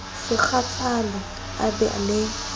se kgathale a be le